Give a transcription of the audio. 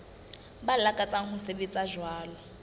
ba lakatsang ho sebetsa jwalo